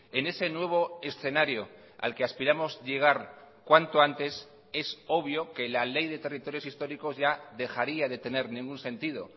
en ese nuevo escenario al que aspiramos llegar cuanto antes es obvio que la ley de territorios históricos ya dejaría de tener ningún sentido